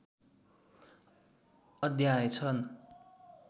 अध्याय छन्।